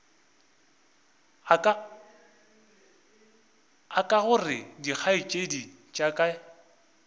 aka gore dikgaetšedi tša ka